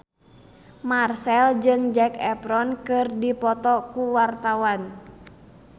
Marchell jeung Zac Efron keur dipoto ku wartawan